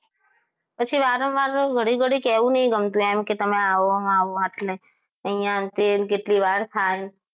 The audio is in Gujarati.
પછી વારંવારે ઘડી ઘડી કહેવું નહીં ગમતું કે તમે આવો આવો અહીંયા તે અને કેટલી વાર થાય